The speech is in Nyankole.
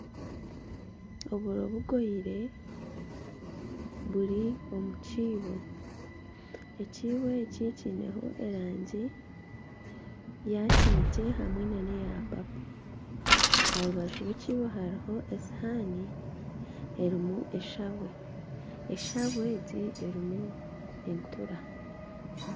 Oburo bugoyire buri omu kiibo, ekiibo eki kineho erangi ya kinekye hamwe neya papo aha rubaju rw'ekiibo hariho esuuwani erimu eshabwe, eshabwe egi erimu entuura.